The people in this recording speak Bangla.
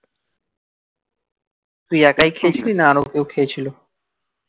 তুই একাই খেয়েছিলিস না আরও খেয়েছিল